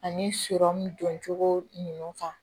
Ani sɔrɔmu doncogo ninnu kan